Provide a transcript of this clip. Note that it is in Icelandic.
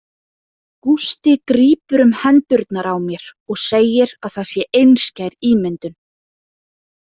Gústi grípur um hendurnar á mér og segir að það sé einskær ímyndun.